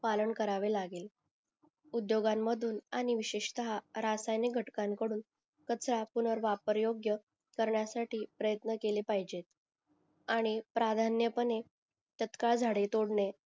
पालन करावे लागेल उदोघांन मधून आणि विशेषतः रासायनिक घटकां कडून त्याचा पूणर वापर योग्य करण्यासाठी पर्यन्त केले पाहिजेत आणि प्राधान्यपणे तात्काळ झाडे तोडणे